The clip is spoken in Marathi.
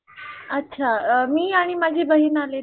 अच्छा मी आणि माझी बहीण आले तर